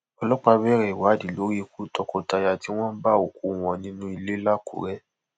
ọlọpàá bẹrẹ ìwádìí lórí ikú tọkọtaya tí wọn bá òkú wọn nínú ilé làkúrẹ